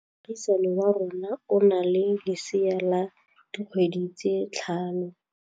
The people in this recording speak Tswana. Moagisane wa rona o na le lesea la dikgwedi tse tlhano.